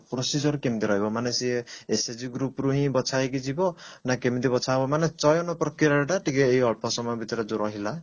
procedure କେମତି ରହିବ ମାନେ ସିଏ SHG group ରୁ ହିଁ ବଛା ହେଇକି ଯିବ ନା କେମିତି ବଛା ହବ ମାନେ ଚୟନ ପ୍ରକ୍ରିୟାଟା ଟିକେ ଏଇ ଅଳ୍ପ ସମୟ ଭିତରେ ଯଉ ରହିଲା